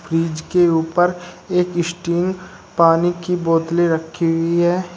Fridge के ऊपर एक स्टिंग पानी की बोतले रखी हुई है।